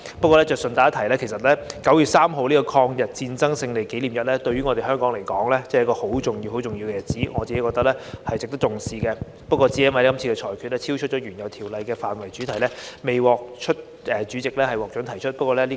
不過，順帶一提，其實9月3日的抗日戰爭勝利紀念日對香港來說是十分重要的日子，我個人認為值得重視，但這次因被裁定超出原有《條例草案》的範圍及主題而未獲主席批准提出。